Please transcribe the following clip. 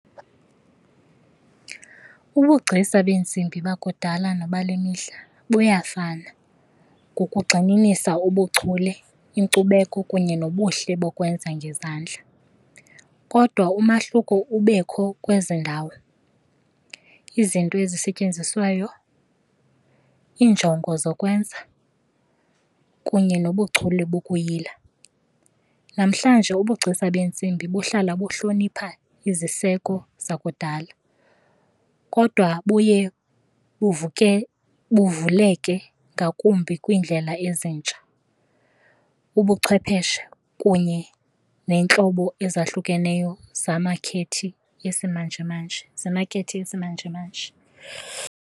Ubugcisa beentsimbi bakudala nobale mihla buyafana ngokugxininisa ubuchule, inkcubeko kunye nobuhle bokwenza ngezandla. Kodwa umahluko ubekho kwezi ndawo, izinto ezisetyenziswayo, iinjongo zokwenza kunye nobuchule bokuyila. Namhlanje ubugcisa beentsimbi buhlala buhlonipha iziseko zakudala kodwa buye buvuke buvuleke ngakumbi kwiindlela ezintsha, ubuchwepheshe kunye neentlobo ezahlukeneyo yesimanjemanje, zemakhethi yesimanjemanje.